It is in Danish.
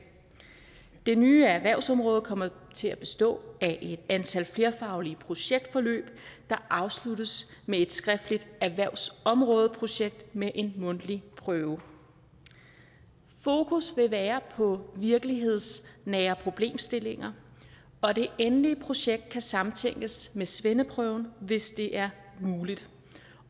det nye er at erhvervsområdet kommer til at bestå af et antal flerfaglige projektforløb der afsluttes med et skriftligt erhvervsområdeprojekt med en mundtlig prøve fokus vil være på virkelighedsnære problemstillinger og det endelige projekt kan samtænkes med svendeprøven hvis det er muligt